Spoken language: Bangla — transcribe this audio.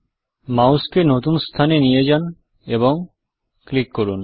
মাউসকে নতুন স্থানে নিয়ে যান এবং টিপুন